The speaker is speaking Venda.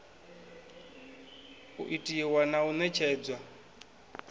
u itiwa na u ṋetshedzwa